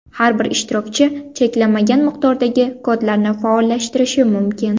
Har bir ishtirokchi cheklanmagan miqdordagi kodlarni faollashtirishi mumkin.